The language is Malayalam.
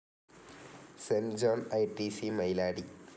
Saint John ITC. മൈലാടി